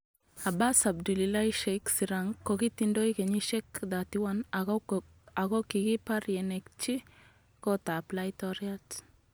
Abas Abdullahi Sheikh Sirank kokitindoi kenyishek 31 akokikipar yenekitchi kot ap. Laitoriat.